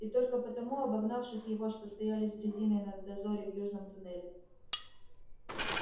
и только потому обогнавших его что стояли с дрезиной на дозоре в южном туннеле